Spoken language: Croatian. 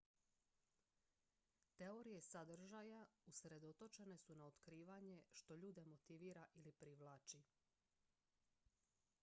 teorije sadržaja usredotočene su na otkrivanje što ljude motivira ili privlači